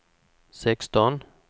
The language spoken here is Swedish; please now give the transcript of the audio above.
sexton